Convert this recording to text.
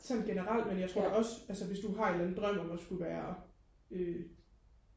sådan generelt men jeg tror da også altså hvis du har en eller anden drøm om skulle at være øh